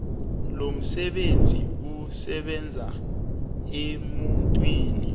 lomsebenzi usebenza emuntwini